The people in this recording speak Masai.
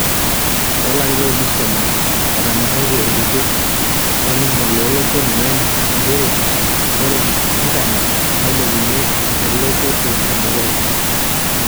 Toolarini oolus tomon, etonyoraitia olturur lolingo loo loshon (UN) njeree oree intanet nailepunye elototo edukuya.